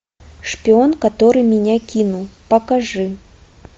шпион который меня кинул покажи